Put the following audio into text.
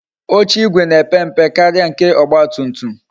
Oche igwe na-epe mpe karịa nke ọgba tum tum